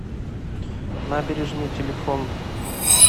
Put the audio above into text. набережный телефон